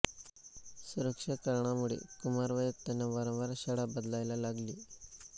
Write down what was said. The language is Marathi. सुरक्षा कारणांमुळे कुमारवयात त्यांना वारंवार शाळा बदलायला लागली